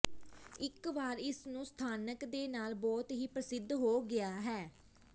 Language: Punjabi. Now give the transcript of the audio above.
ਇੱਕ ਵਾਰ ਇਸ ਨੂੰ ਸਥਾਨਕ ਦੇ ਨਾਲ ਬਹੁਤ ਹੀ ਪ੍ਰਸਿੱਧ ਹੋ ਗਿਆ ਹੈ